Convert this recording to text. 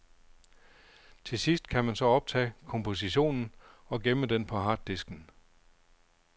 Til sidst kan man så optage kompositionen og gemme den på harddisken.